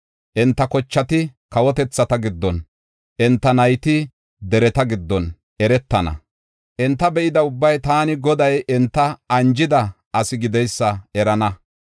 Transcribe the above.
Enta kochati kawotethata giddon, enta nayti dereta giddon eretana; enta be7ida ubbay taani, Goday, enta anjida asi gideysa erana.”